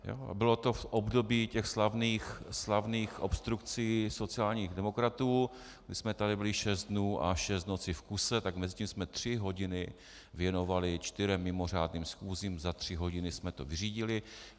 Bylo to v období těch slavných obstrukcí sociálních demokratů, kdy jsme tady byli šest dnů a šest nocí v kuse, tak mezi tím jsme tři hodiny věnovali čtyřem mimořádným schůzím, za tři hodiny jsme to vyřídili.